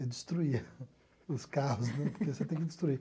Eu destruía os carros, né, porque você tem que destruir.